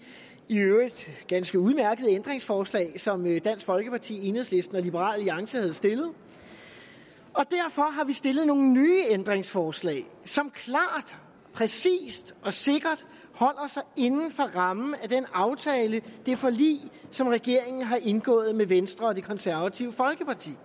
i øvrigt ganske udmærkede ændringsforslag som dansk folkeparti enhedslisten og liberal alliance havde stillet og derfor har vi stillet nogle nye ændringsforslag som klart præcist og sikkert holder sig inden for rammen af den aftale af det forlig som regeringen har indgået med venstre og det konservative folkeparti